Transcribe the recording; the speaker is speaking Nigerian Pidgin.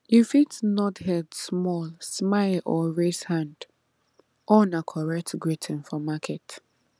you fit nod head small smile or raise hand all na correct greeting for market